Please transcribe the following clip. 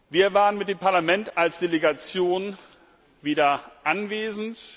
Wir waren mit dem Parlament als Delegation wieder anwesend.